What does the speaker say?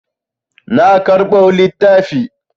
Na karɓo littafi.